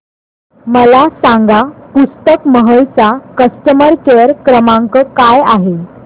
मला सांगा पुस्तक महल चा कस्टमर केअर क्रमांक काय आहे